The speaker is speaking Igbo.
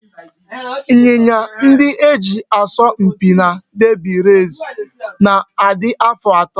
Ịnyịnya ndị e ji asọ mpi na derby race na-adị afọ atọ